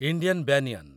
Indian banyan